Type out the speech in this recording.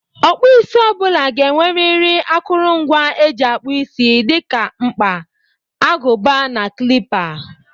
Ọkpụisi ọ bụla ga-enweriri akụrụngwa e ji akpụ isi dị ka mkpa, agụba na klịpa